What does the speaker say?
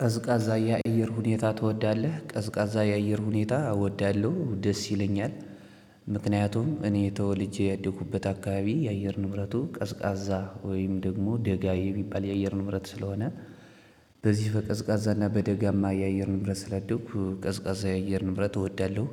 ቀዝቃዛ ያየር ሁኔታ ትወዳለህ? ቀዝቃዛ ያየር ሁኔታ እወዳለሁ ደስ ይለኛል። ምክንያቱም እኔ ተወልጄ ያደኩበት አካባቢ የአየር ንብረቱ ቀዝቃዛ ወይም ደግሞ ደጋ የሚባል የአየር ንብረት ስለሆነ። በዚህ በቀዝቃዛ እና በደጋማ የአየር ንብረት ስላደኩ ቀዝቃዛ የአየር ንብረት እወዳለሁ።